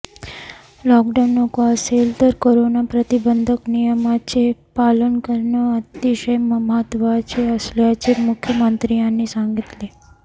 lockdown नको असेल तर कोरोना प्रतिबंधक नियमांचं पालन करणं अतिशय महत्वाचं असल्याचं मुख्यमंत्र्यांनी सांगितलं